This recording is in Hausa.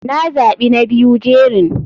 Na za bi na biyu jerin.